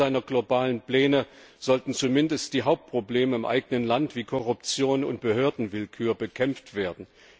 Am Beginn seiner globalen Pläne sollten zumindest die Hauptprobleme im eigenen Land, wie Korruption und Behördenwillkür, bekämpft werden.